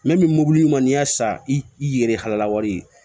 min mɔbili man ni y'a san i ye halala wari ye